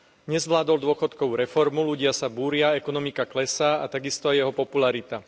Nezvládol dôchodkovú reformu, ľudia sa búria, ekonomika klesá a tak isto aj jeho popularita.